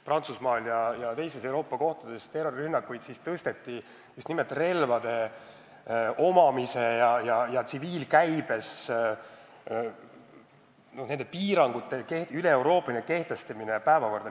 Prantsusmaal ja teistes Euroopa riikides toimusid terrorirünnakud, siis tõsteti päevakorda just nimelt relvade tsiviilkäibes omamise piirangute kehtestamine kogu Euroopa Liidus.